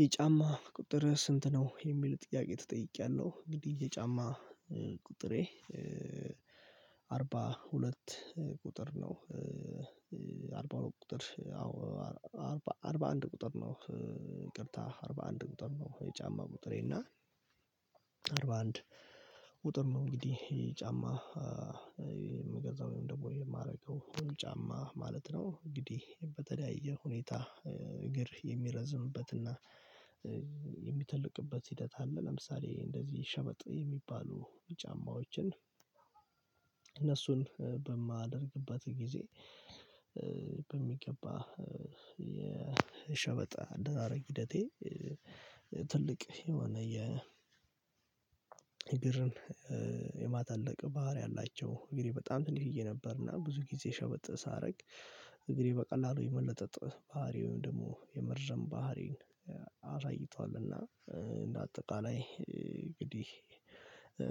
የጫማ ቁጥርህ ስንት ነው የሚል ጥያቄ ተጠይቄያለሁ? እንግዲህ የጫማ ቁጥሬ አርባ ሁለት ቁጥር ነው። አርባ ሁለት ቁጥር አዎ አርባ አንድ ቁጥር ነው። ይቅርታ አርባ አንድ ቁጥር ነው የጫማ ቁጥሬ እና አርባ አንድ ቁጥር ነው። እንግዲህ የጫማ የምገዛው ደግሞ የማደርገው ጫማ ማለት ነው። እንግዲህ በተለያየ ሁኔታ እግር የሚረዝምበትና የሚተልቅበት ሂደት አለ። ለምሳሌ እንደዚህ ሸበጥ የሚባሉ ጫማዎችን እነሱን በማደርግበት ጊዜ በሚገባ የሸበጥ አደራረግ ሂደቴ ትልቅ የሆነ የ እግርን የማተለቅ ባህሪ አላቸው። እግሬ በጣም ትንሽዬ ነበርና ብዙ ጊዜ ሸበጥ ሳደርግ እግሬ በቀላሉ የመለጠጥ ባህሪ ወይም ደግሞ የመርዘም ባህሪን አሳይቷልና እንደ አጠቃላይ እንግዲህ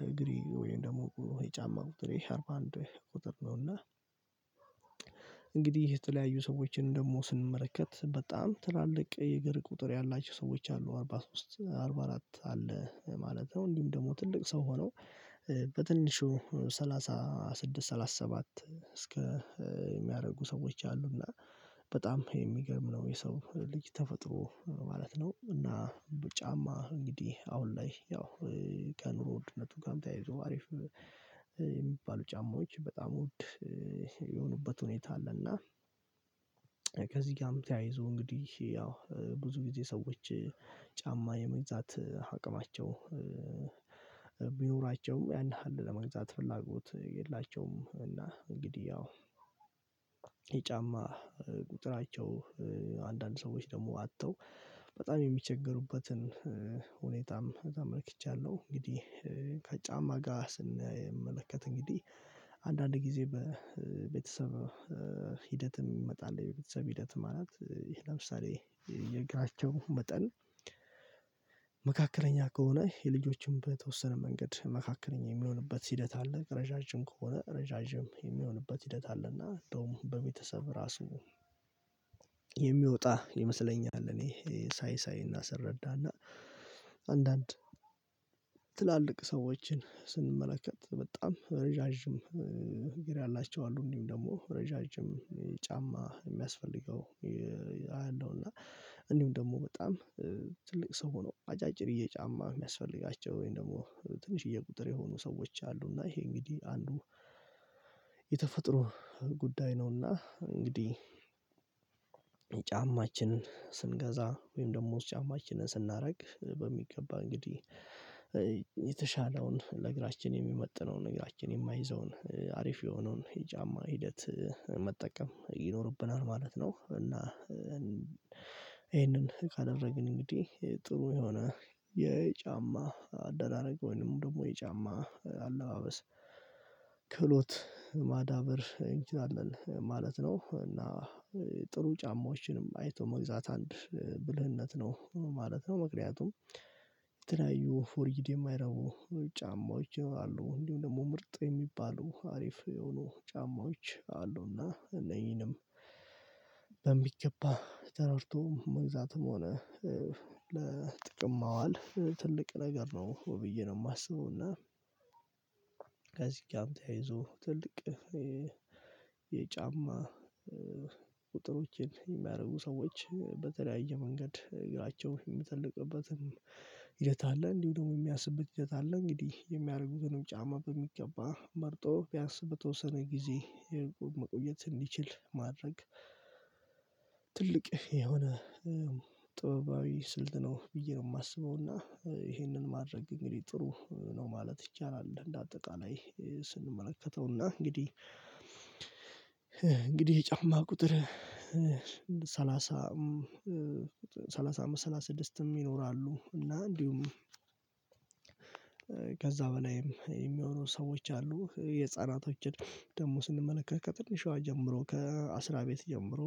እግሬ ወይም ደግሞ የጫማ ቁጥሬ አርባ አንድ ቁጥር ነው። እና እንግዲህ የተለያዩ ሰዎችን ደግሞ ስንመለከት በጣም ትላልቅ የእግር ቁጥር ያላቸው ሰዎች አሉ አርባ ሶስት አርባ አራት አለ ማለት ነው። እንዲሁ ደግሞ ትልቅ ሰው ሆነው በትንሹ ሰላሳ ስድስት ሰላሳ ሰባት እስከ የሚያደርጉ ሰዎች አሉና በጣም የሚገርም ነው የሰው ልጅ ተፈጥሮ ማለት ነው። እና በጫማ እንግዲህ አሁን ላይ ያው ከኑሮ ውድነቱ ጋርም ተያይዞ አሪፍ የሚባሉ ጫማዎች በጣም ውድ የሆኑበት ሁኔታ አለና። ከዚህ ጋርም ተያይዞ እንግዲህ ያው ብዙ ጊዜ ሰዎች ጫማ የመግዛት አቅማቸው ቢኖራቸውም ያን ያህል ለመግዛት ፍላጎት የላቸውም። እና እንግዲህ ያው የጫማ ቁጥራቸው አንዳንድ ሰዎች ደግሞ አጥተው በጣም የሚቸገሩበትን ሁኔታም ተመልክቻለሁ። እንግዲህ ከጫማ ጋር ስንመለከት እንግዲህ አንዳንድ ጊዜ በቤተሰብ ሂደትም ይመጣል በቤተሰብ ሂደትም ማለት ለምሳሌ የእግራቸው መጠን መካከለኛ ከሆነ የልጆችም በተወሰነ መንገድ መካከለኛ የሚሆንበት ሂደት አለ ረዣዥም ከሆነ ረዣዥም የሚሆንበት ሂደት አለ። እና እንደውም በቤተሰብ ራሱ የሚወጣ ይመስለኛል እኔ ሳይ ሳይ እና ስረዳ እና አንዳንድ ትላልቅ ሰዎችን ስንመለከት በጣም ረዣዥም እግር ያላቸው አሉ እንዲሁም ደግሞ ረዣዥም ጫማ የሚያስፈልገው አያለሁ። እና እንዲሁም ደግሞ በጣም ትልቅ ሰው ሆነው አጫጭርዬ ጫማ የሚያስፈልጋቸው ወይም ደግሞ ትንሽዬ ቁጥር የሆኑ ሰዎች አሉ። እና ይሄ እንግዲህ አንዱ የተፈጥሮ ጉዳይ ነውና እንግዲህ ጫማችንን ስንገዛ ወይም ደግሞ ጫማችንን ስናደርግ በሚገባ እንግዲህ የተሻለውን ለእግራችን የሚመጥነውን እግራችን የማይዘውን አሪፍ የሆነውን የጫማ ሂደት መጠቀም ይኖርብናል ማለት ነው። እና ይሄንን ካደረግን እንግዲህ ጥሩ የሆነ የጫማ አደራረገ ወይንም ደግሞ የጫማ አለባበስ ክህሎት ማዳበር እንችላለን ማለት ነው እና ጥሩ ጫማዎችንም አይቶ መግዛት አንድ ብልህነት ነው ማለት ነው። ምክንያቱም የተለያዩ ፎርጂድ የማይረቡ ጫማዎች ይኖራሉ እንዲሁም ደግሞ ምርጥ የሚባሉ አሪፍ የሆኑ ጫማዎች አሉና እነኚህንም ተረድቶ መግዛትም ሆነ ለጥቅም ማዋል ትልቅ ነገር ነው ብዬ ነው የማስበው። እና ከዚህ ጋር ተያይዞ ትልቅ የጫማ ቁጥሮችን የሚያደርጉ ሰዎች በተለያየ መንገድ እግራቸው የሚተልቅበትም ሂደት አለ እንዲሁ ደግሞ የሚያንስበት ሂደት አለ። እንግዲህ የሚያደርጉትንም ጫማ በሚገባ መርጦ ቢያንስ በተወሰነ ጊዜ የመቆየት እንዲችል ማድረግ የሆነ ጥበባዊ ስልት ነው ብዬ ነው የማስበው እና ይሄንን ማድረግ ግን እንግዲህ ጥሩ ነው ማለት ይቻላል። እንደ አጠቃላይ ስንመለከተውና እንግዲህ የጫማ ቁጥር ሰላሳ ሰላሳ ስድስትም ይኖራሉ እና እንዲሁም ከዛ በላይም የሚሆኑ ሰዎች አሉ። የህፃናቶችን ደግሞ ስንመለከት ከትንሿ ጀምሮ ከአስራ ቤት ጀምሮ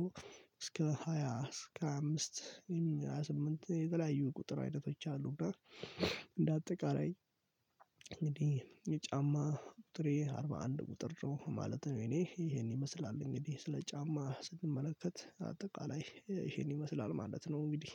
እስከ ሃያ እስከ ሃያ አምስት ሃያ ስምንት የተለያዩ ቁጥር አይነቶች አሉ። እና እንደ አጠቃላይ እንግዲህ የጫማ ቁጥሬ አርባ አንድ ቁጥር ነው ማለት ነው። የኔ ይሄን ይመስላል እንግዲህ ስለ ጫማ ስንመለከት አጠቃላይ ይሄን ይመስላል ማለት ነው። እንግዲህ